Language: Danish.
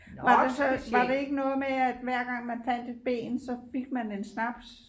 Var det så var det ikke noget med at hver gang man fandt et ben så fik man en snaps